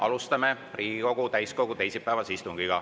Alustame Riigikogu täiskogu teisipäevast istungit.